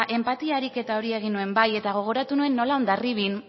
enpatia ariketa hori egin nuen bai eta gogoratu nuen nola hondarribian